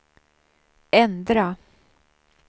ändra